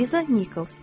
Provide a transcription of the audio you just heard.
Liza Nichols.